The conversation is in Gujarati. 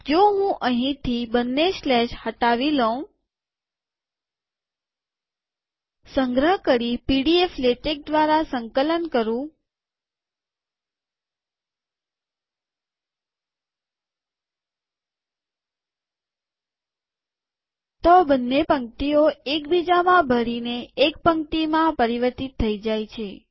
જો હું અહીંથી બંને સ્લેશ હટાવી લઉં - સંગ્રહ કરીપીડીએફલેટેક દ્વારા સંકલન કરું- તો બંને પંક્તિઓ એક બીજામાં ભળી ને એક પંક્તિમાં પરિવર્તિત થઇ જાય છે